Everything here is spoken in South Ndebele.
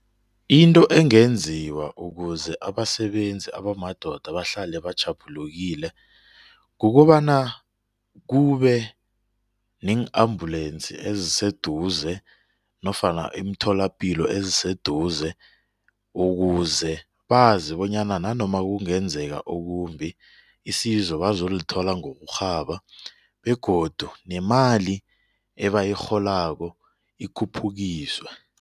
Into engenziwa ukuze abasebenzi abamadoda bahlale batjhaphulukile kukobana kube neng-ambulensi eziseduze nofana imitholapilo eziseduze ukuze bazi bonyana nanoma kungenzeka okumbi isizo bazolithola ngokurhaba begodu nemali ebayirholako ikhuphukiswe.